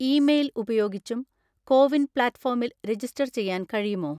Email ഉപയോഗിച്ചും CoWIN പ്ലാറ്റ്‌ഫോമിൽ register ചെയ്യാൻ കഴിയുമോ?